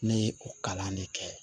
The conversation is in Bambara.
Ne ye o kalan de kɛ